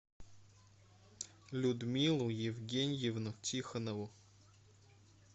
людмилу евгеньевну тихонову